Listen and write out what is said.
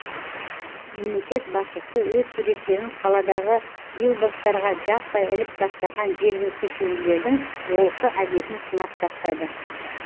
мемлекет басшысы өз суреттерін қаладағы билбордттарға жаппай іліп тастаған жергілікті шенділердің олқы әдетін сынап тастады